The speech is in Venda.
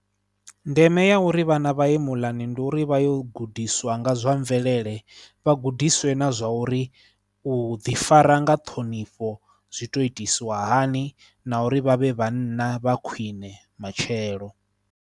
Ndeme ya uri vhana vha ye muḽani ndi uri vha yo gudiswa nga zwa mvelele, vha gudiswe na zwa uri u ḓifara nga ṱhonifho zwi tou itisa hani na uri vha vhe vhanna vha khwiṋe matshelo.